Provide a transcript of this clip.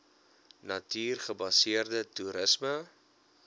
natuur gebaseerde toerisme